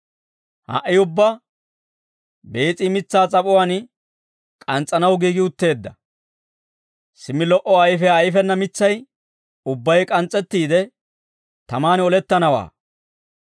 Ha"i ubbaa bees'i mitsaa s'ap'uwaan k'ans's'anaw giigi utteedda; simmi lo"o ayfiyaa ayfena mitsay ubbay k'ans's'ettiide tamaan olettanawaa.»